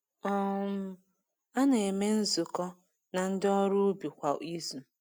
um A na-eme nzukọ na ndị ọrụ ubi kwa izu.